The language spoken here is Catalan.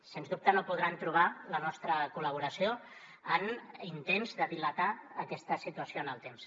sens dubte no podran trobar la nostra col·laboració en intents de dilatar aquesta situació en el temps